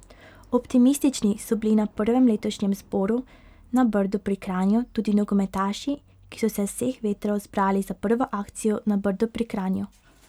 Optimistični so bili na prvem letošnjem zboru na Brdu pri Kranju tudi nogometaši, ki so se z vseh vetrov zbrali za prvo akcijo na Brdu pri Kranju.